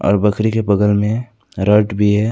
और बकरी के बगल में रॉड भी है।